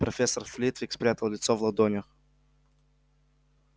профессор флитвик спрятал лицо в ладонях